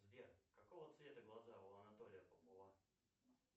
сбер какого цвета глаза у анатолия попова